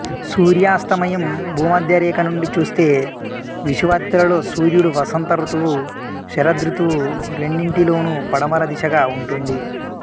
సూర్యాస్తమయం భూమధ్యరేఖ నుండి చూస్తే విషువత్తులలో సూర్యుడు వసంత ఋతువు శరదృతువు రెండింటిలోనూ పడమర దిశగా ఉంటుంది